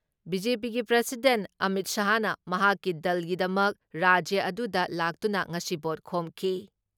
ꯕꯤ.ꯖꯦ.ꯄꯤꯒꯤ ꯄ꯭ꯔꯁꯤꯗꯦꯟ ꯑꯃꯤꯠ ꯁꯥꯍꯅ ꯃꯍꯥꯛꯀꯤ ꯗꯜꯒꯤꯗꯃꯛ ꯔꯥꯖ꯭ꯌ ꯑꯗꯨꯗ ꯂꯥꯛꯇꯨꯅ ꯉꯁꯤ ꯚꯣꯠ ꯈꯣꯝꯈꯤ ꯫